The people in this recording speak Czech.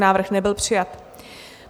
Návrh nebyl přijat.